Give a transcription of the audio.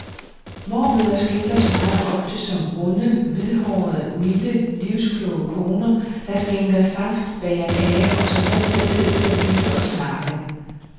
Mormødre skrildres meget ofte som runde, hvidhårede, milde, livskloge koner, der skænker saft, bager kager og som altid har tid til at lytte og snakke.